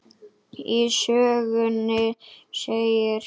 Í sögunni segir: